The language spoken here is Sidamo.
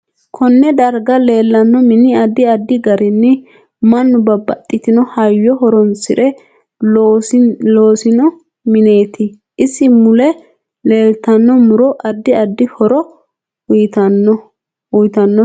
Konne daraga leelanno mini addi addi garinni mannu babaxitino hayyo horoonsire loosino mineeti isi mule leeltanno muro addi addi horo uyiitanote